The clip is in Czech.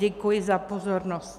Děkuji za pozornost.